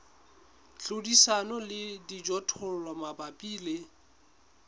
hlodisana le dijothollo mabapi le